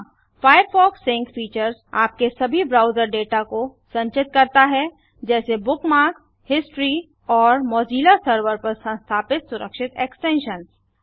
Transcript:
Firefox sync features आपके सभी browser data को संचित करता है जैसे बुकमार्क्स हिस्टोरी और मौजिला सर्वर पर संस्थापित सुरक्षित एक्सटेंशंस